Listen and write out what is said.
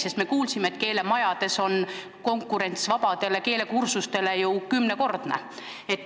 Me oleme kuulnud, et keelemajades on konkurents keelekursuste vabadele kohtadele ju kümnekordne.